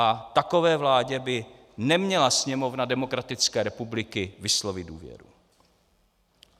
A takové vládě by neměla Sněmovna demokratické republiky vyslovit důvěru.